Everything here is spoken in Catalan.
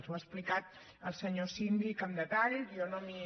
ho ha explicat el senyor síndic amb detall jo no m’hi